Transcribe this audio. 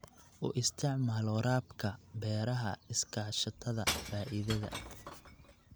U isticmaal waraabka beeraha iskaashatada faa'iidada.